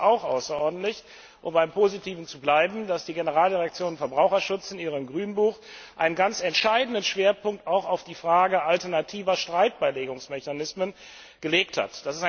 Ich begrüße auch außerordentlich um beim Positiven zu bleiben dass die Generaldirektion Verbraucherschutz in ihrem Grünbuch einen ganz entscheidenden Schwerpunkt auch auf die Frage alternativer Streitbeilegungsmechanismen gelegt hat.